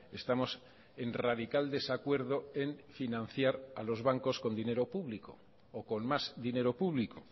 estamos en radical desacuerdo en financiar a los bancos con dinero público o con más dinero público